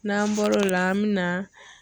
N'an bɔr'o la an bɛ na.